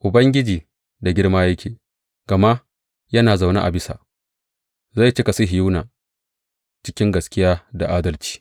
Ubangiji da girma yake, gama yana zaune a bisa; zai cika Sihiyona cikin gaskiya da adalci.